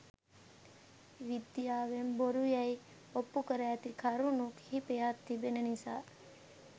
විද්‍යාවෙන් බොරු යැයි ඔප්පු කර ඇති කරුණු කිහිපයක් තිබෙන නිසා